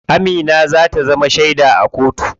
Amina za ta zama sheda a kotu.